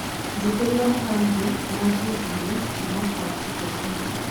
njitiria mahamri ma njibini kũma kwa chicken inn